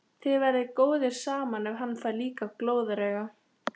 Þið verðið góðir saman ef hann fær líka glóðarauga!